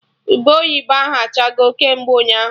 Ube oyibo ahụ achago kemgbe ụnyaahụ